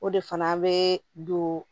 O de fana bɛ don